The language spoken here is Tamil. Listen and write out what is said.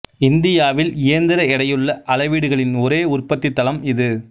இந்தியாவில் இயந்திர எடையுள்ள அளவீடுகளின் ஒரே உற்பத்தி தளம் இது